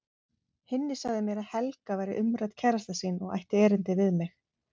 Hinni sagði mér að Helga væri umrædd kærasta sín og ætti erindi við mig.